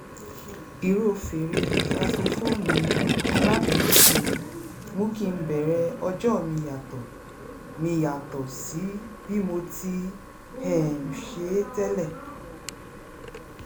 ìró fèrè-sásofóònù alámúlétì mi mú kí n bẹ̀rẹ̀ ọjọ́ mi yàtọ̀ mi yàtọ̀ sí bí mo tií um ṣe é tẹ́lẹ̀